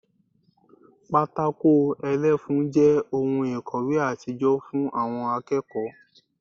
Pátákó ẹlẹ́fun jẹ́ ohun ìkòwé àtijọ́ fún àwọn akẹ́kọ̀ọ́